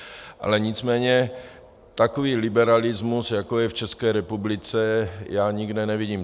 Ale nicméně takový liberalismus, jako je v České republice, já nikde nevidím.